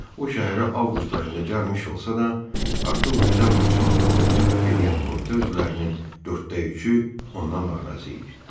O şəhərə avqust ayında gəlmiş olsa da, artıq oktyabrın sonunda onu dəvət edən komitə üzvlərinin dörddə üçü ondan narazı idi.